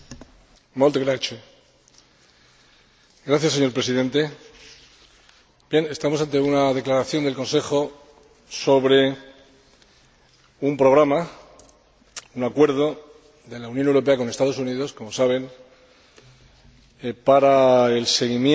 Señor Presidente, estamos ante una declaración del Consejo sobre un programa, un acuerdo de la Unión Europea con los Estados Unidos, como saben, para el seguimiento de la financiación del terrorismo y, por tanto, el intercambio,